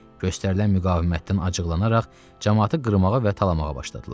Göstərilən müqavimətdən acıqlanaraq camaatı qırmağa və talamağa başladılar.